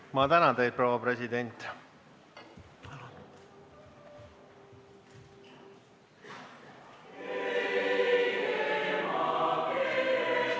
Ma tänan teid, proua president!